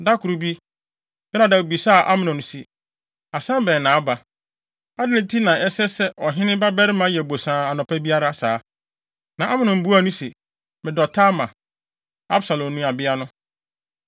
Da koro bi, Yonadab bisaa Amnon se, “Asɛm bɛn na aba? Adɛn nti na ɛsɛ sɛ ɔhene babarima yɛ bosaa anɔpa biara saa?” Na Amnon buaa no se, “Medɔ Tamar, Absalom nuabea no.”